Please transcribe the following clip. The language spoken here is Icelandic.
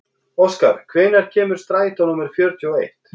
Óskar, hvenær kemur strætó númer fjörutíu og eitt?